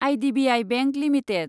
IDBI bank limited